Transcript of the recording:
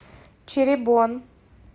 чиребон